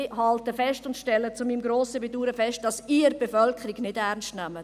Ich stelle zu meinem grossen Bedauern fest, dass Sie die Bevölkerung nicht ernst nehmen.